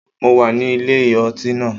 Mo wà ní ilé ọtí náà.